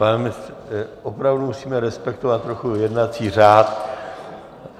Pane ministře, opravdu musíme respektovat trochu jednací řád.